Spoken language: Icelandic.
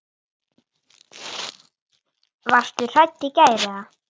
Hvað leiðir af þessu?